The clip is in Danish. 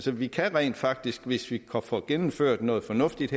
vi kan rent faktisk hvis vi her får gennemført noget fornuftigt